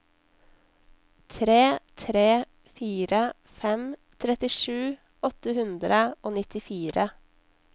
tre tre fire fem trettisju åtte hundre og nittifire